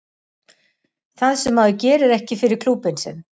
Það sem að maður gerir ekki fyrir klúbbinn sinn.